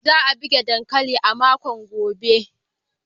Za a girbe dankalin a makon gobe.